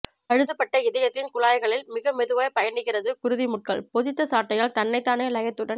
பழுதுபட்ட இதயத்தின் குழாய்களில் மிக மெதுவாய்ப் பயணிக்கிறது குருதி முட்கள் பொதித்த சாட்டையால் தன்னைத்தானே லயத்துடன்